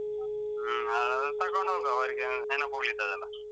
ಹ್ಮ್ ಅವರಿಗೆ ತಗೊಂಡ್ ಹೋಗುವ ಅವರಿಗೆ ನೆನಪುಳಿತದಲ್ಲ.